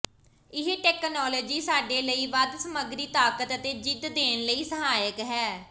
ਇਹ ਤਕਨਾਲੋਜੀ ਸਾਡੇ ਲਈ ਵੱਧ ਸਮੱਗਰੀ ਤਾਕਤ ਅਤੇ ਜ਼ਿਦ ਦੇਣ ਲਈ ਸਹਾਇਕ ਹੈ